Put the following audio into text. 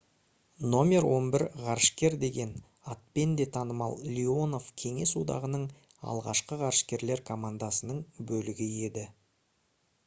«№ 11 ғарышкер» деген атпен де танымал леонов кеңес одағының алғашқы ғарышкерлер командасының бөлігі еді